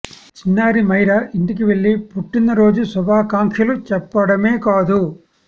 చిన్నారి మైరా ఇంటికి వెళ్లి పుట్టిన రోజు శుభాకాంక్షలు చెప్పడమే కాదు